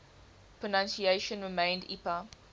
pronunciation remained ipa